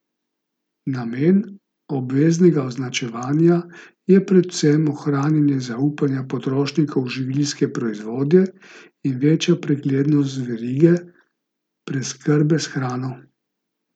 Namen obveznega označevanja je predvsem ohranjanje zaupanja potrošnikov v živilske proizvode in večja preglednost verige preskrbe s hrano.